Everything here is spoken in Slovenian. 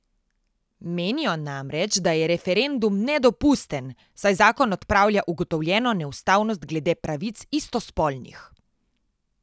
Menijo namreč, da je referendum nedopusten, saj zakon odpravlja ugotovljeno neustavnost glede pravic istospolnih.